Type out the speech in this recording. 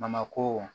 Bamako